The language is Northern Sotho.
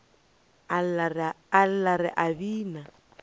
a lla re a bina